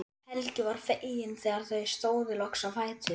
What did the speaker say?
Helgi var feginn þegar þau stóðu loks á fætur.